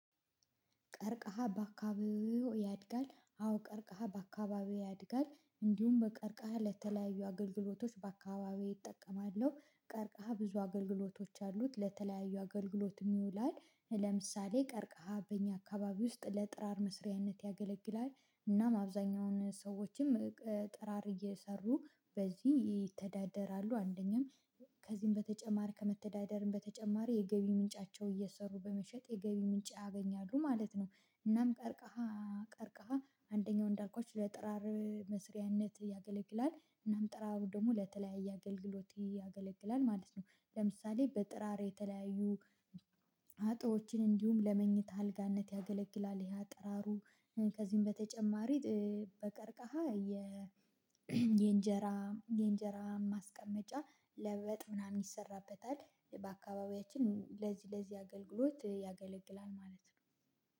ቀርቀሃ በአካባቢው ያድጋል አዎ ቀርቀሃ በአካባቢው ያድጋል እንዲሁም በቀርቀሃ ለተለያዩ አገልግሎቶች በአካባቢዬ እጠቀማለሁ ቀርቀሃ ብዙ አገልግሎቶች አሉት ለተለያዩ አገልግሎትም ይውላል። ለምሳሌ ቀርቀሃ በእኛ አካባቢ ውስጥ ለጥራር መስሪያነት ያገለግላል። እናም አብዛኛውን ሰዎችም ጥራር እየሰሩ በዚህ ይተዳደራሉ አንደኛም ከዚህም በተጨማር ከመተዳደርም በተጨማር የገቢ ምንጫቸው እየሰሩ በመሸጥ የገቢ ምንጭ ያገኛሉ ማለት ነው። እናም ቀርቀሃ ቀርቀሃ አንደኛው እንዳልኳች ለጥራር መስሪያነት ያገለግላል እናም ጥራሩ ደግሞ ለተለያየ አገልግሎት ያገለግላል ማለት ነው። ለምሳሌ በጥራሬ የተለያዩ አጥሮችን እንዲሁም ለመኝታ አልጋነት ያገለግላል። ይሄ አጠራሩ ከዚህም በተጨማሪ በቀርቃሃ የ የእንጀራ የእንጀራ ማስቀመጫ ለበጥ ምናምን ይሰራበታል በአካባቢያችን ለዚህ ለዚህ አገልግሎት ያገለግላል ማለት ነው።